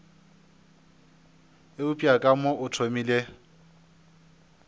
eupša ka mo o thomile